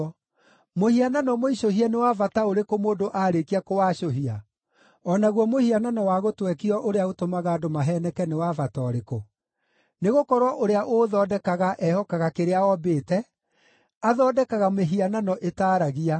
“Mũhianano mũicũhie nĩ wa bata ũrĩkũ mũndũ aarĩkia kũwacũhia? O naguo mũhianano wa gũtwekio ũrĩa ũtũmaga andũ maheeneke nĩ wa bata ũrĩkũ? Nĩgũkorwo ũrĩa ũũthondekaga ehokaga kĩrĩa ombĩte; athondekaga mĩhianano ĩtaaragia.